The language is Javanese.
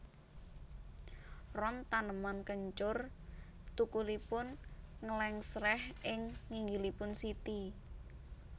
Ron taneman kencur thukulipun nglèngsrèh ing nginggilipun siti